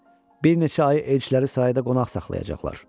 Bir neçə ay elçiləri sarayda qonaq saxlayacaqlar.